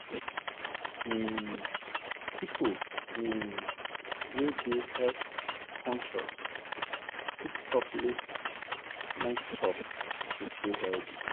um people um wey dey health-conscious fit stop late-night chop to stay healthy.